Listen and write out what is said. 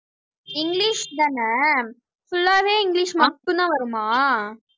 English தானே full ஆவே English மட்டும்தான் வருமா